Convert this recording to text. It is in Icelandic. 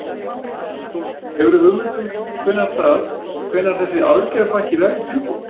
Sólveig: Hefurðu hugmynd um hvenær það, hvenær þessi aðgerðapakki verður tilbúinn?